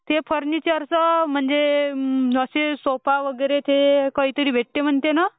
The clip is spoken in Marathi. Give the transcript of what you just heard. ते फुर्निचर चा म्हणजे ते सोफा वगैरे ते काही तरी भेटते म्हणते ना?